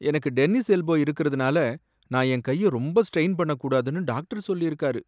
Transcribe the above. எனக்கு tennis elbow இருக்கிறதனால நான் என் கைய ரொம்ப ஸ்ட்ரெயின் பண்ணக் கூடாதுன்னு டாக்டர் சொல்லியிருக்காரு.